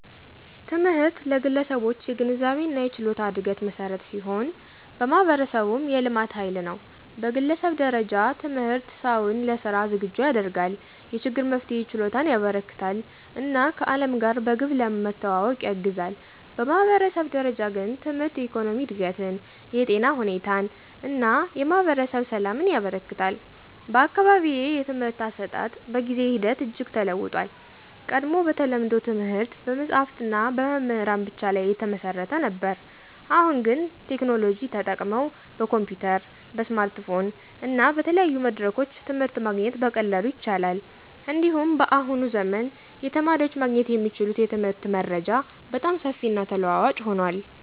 ትምህርት ለግለሰቦች የግንዛቤና የችሎታ እድገት መሠረት ሲሆን፣ ለማህበረሰቡም የልማት ኃይል ነው። በግለሰብ ደረጃ ትምህርት ሰውን ለሥራ ዝግጁ ያደርጋል፣ የችግር መፍትሄ ችሎታን ያበረከትለታል እና ከዓለም ጋር በግብ ለመዋወቅ ያግዛል። በማህበረሰብ ደረጃ ግን ትምህርት የኢኮኖሚ እድገትን፣ የጤና ሁኔታን እና የማህበረሰብ ሰላምን ያበረክታል። በአካባቢዬ የትምህርት አሰጣጥ በጊዜ ሂደት እጅግ ተለውጦአል። ቀድሞ በተለምዶ ትምህርት በመጽሀፍትና በመምህራን ብቻ ላይ የተመሰረተ ነበር። አሁን ግን ቴክኖሎጂ ተጠቅመው በኮምፒዩተር፣ በስማርትፎን እና በተለያዩ መድረኮች ትምህርት ማግኘት በቀላሉ ይቻላል። እንዲሁም በአሁኑ ዘመን የተማሪዎች ማግኘት የሚችሉት የትምህርት መረጃ በጣም ሰፊና ተለዋዋጭ ሆኗል።